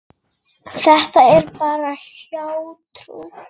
Þetta er bara hjátrú.